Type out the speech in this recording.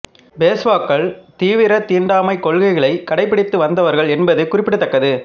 பேஷ்வாக்கள் தீவிர தீண்டாமைக் கொள்கைகளை கடைபிடித்து வந்ததவர்கள் என்பது குறிப்பிடத்தக்கது